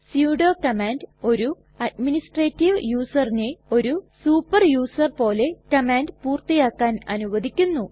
sudo command ഒരു administrative യുസറിനെ ഒരു സൂപ്പർ യുസർ പോലെ കമാൻഡ് പൂർത്തിയാക്കാൻ അനുവദിക്കുന്നു